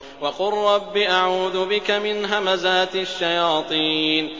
وَقُل رَّبِّ أَعُوذُ بِكَ مِنْ هَمَزَاتِ الشَّيَاطِينِ